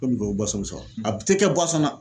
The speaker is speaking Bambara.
Komi o a tɛ kɛ na.